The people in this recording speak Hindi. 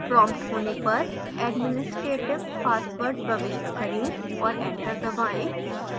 prompted होने पर administrative password प्रविष्ट करें और enter दवाएं